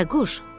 Bayquş.